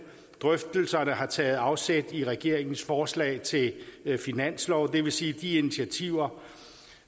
og drøftelserne har taget afsæt i regeringens forslag til finanslov og det vil sige de initiativer